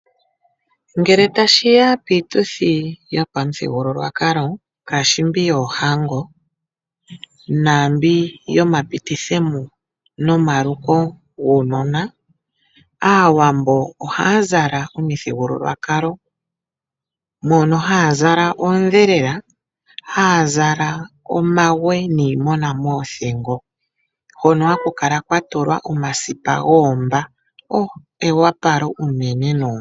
Ngele tashi ya piituthi yopamuthigululwakalo ngaashi mbi yoohango naambi yomapititho mo nomaluko guunona, Aawambo ohaya zala omizalo dhopamuthigululwakalo. Ohaya zala oondhelela, haa zala omawe niimona moothingo hono haku kala kwa tulwa omasipa goomba. O, eopalo unene noonkondo.